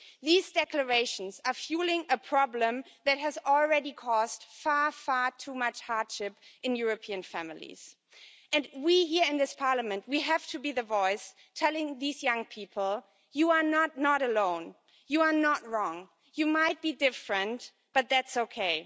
These declarations are fuelling a problem that has already cost far too much hardship in European families, and we here in this Parliament we have to be the voice telling these young people you are not alone, you are not wrong, you might be different, but that's okay.